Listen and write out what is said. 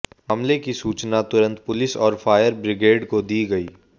मामले की सूचना तुरंत पुलिस और फायर ब्रिगेड को दी गई